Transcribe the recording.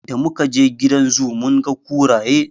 Da mu kaje gidan zoo mun ga kuraye.